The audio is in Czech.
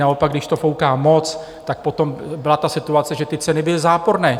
Naopak, když to fouká moc, tak potom byla ta situace, že ty ceny byly záporné.